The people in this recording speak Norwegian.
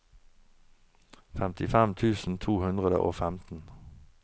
femtifem tusen to hundre og femten